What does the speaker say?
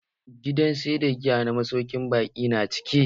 Gidan sayar da giya na masaukin baƙin na cike.